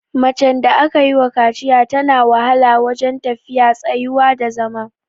Macen da aka yiwa kaciya tana wahala wajen tafiya, tsayuwa da zama.